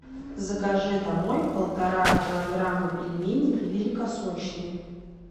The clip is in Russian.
закажи домой полтора килограмма пельменей великосочные